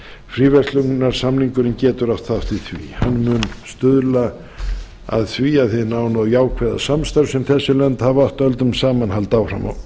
fríverslunarsamningurinn getur átt þátt í því hann mun stuðla að því að hin nána og jákvæða samstarf sem þessi lönd hafa átt öldum saman haldi áfram